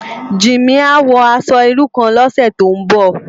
Jimi á wò aṣò irú kán lòsè tó n bò